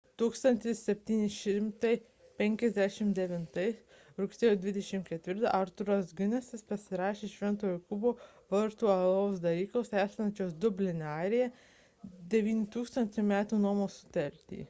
1759 m. rugsėjo 24 d. arthuras guinnessas pasirašė šv. jokūbo vartų alaus daryklos esančios dubline airija 9 000 metų nuomos sutartį